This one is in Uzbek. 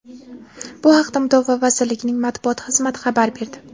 Bu haqda Mudofaa vazirligining matbuot xizmati xabar berdi.